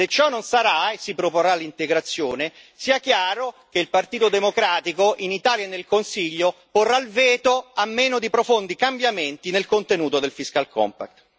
Se ciò non sarà, e si proporrà l'integrazione, sia chiaro che il Partito democratico in Italia e nel Consiglio porrà il veto, a meno di profondi cambiamenti nel contenuto del fiscal compact